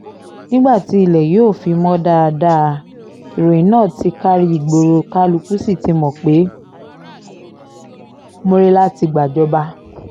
nígbà tí ilẹ̀ yóò fi mọ̀ dáadáa ìròyìn náà ti kárí ìgboro kálukú sí ti mọ̀ pé murila ti gbàjọba